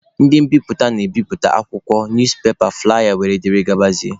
Ndị mbiputa na-ebiputa akwụkwọ, newspaper, flụlaya wdg.